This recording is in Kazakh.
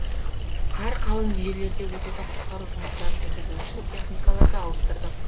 қар қалың жерлерде өтетін құтқару жұмыстарын жүргізу үшін техникаларды ауыстырдық